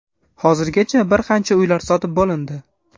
Hozirgacha bir qancha uylar sotib bo‘lindi.